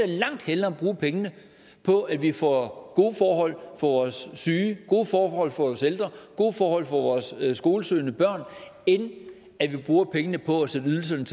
langt hellere bruge pengene på at vi får gode forhold for vores syge gode forhold for vores ældre og gode forhold for vores skolesøgende børn end at vi bruger pengene på at sætte ydelserne